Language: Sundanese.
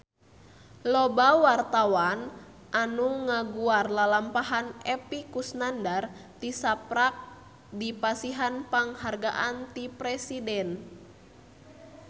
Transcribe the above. Loba wartawan anu ngaguar lalampahan Epy Kusnandar tisaprak dipasihan panghargaan ti Presiden